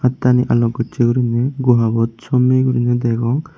attani alog gocche guriney guhabot sommey guriney degong.